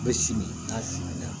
U bɛ sigi k'a siri